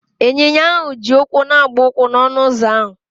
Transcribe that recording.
Ịnyinya ahụ ji ụkwụ na-agba ụkwụ n'ọnụ ụzọ ahụ.